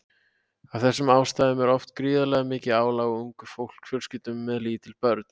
Af þessum ástæðum er oft gríðarlega mikið álag á ungum fjölskyldum með lítil börn.